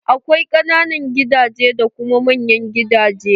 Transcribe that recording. Akwai ƙananan gidaje da kuma manyan gidaje.